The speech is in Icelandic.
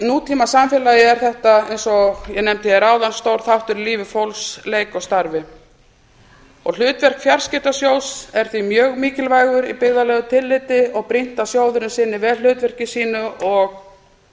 nútímasamfélagi er þetta eins og ég nefndi hér áðan stór þáttur í lífi fólks leik og starfi hlutverk fjarskiptasjóðs er því mjög mikilvægt í byggðalegu tilliti og brýnt að sjóðurinn sinni vel hlutverki sínu og